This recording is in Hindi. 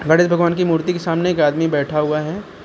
गणेश भगवान की मूर्ति के सामने एक आदमी बैठा हुआ है।